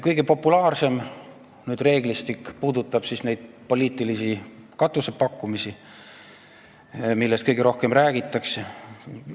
Kõige populaarsem reeglistik puudutab poliitilisi katuseraha pakkumisi, millest ka kõige rohkem räägitakse.